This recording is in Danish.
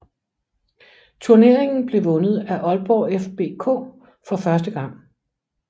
Turneringen blev vundet af Aalborg FBK for første gang